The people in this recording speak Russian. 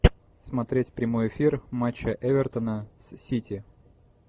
смотреть прямой эфир матча эвертона с сити